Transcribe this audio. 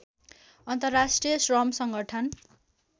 अन्तर्राष्ट्रिय श्रम सङ्गठन